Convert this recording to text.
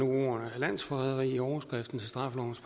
ordet landsforræderi i overskriften til straffelovens